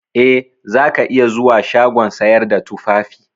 Eh, zaka iya zuwa shagon sayar da tufafi.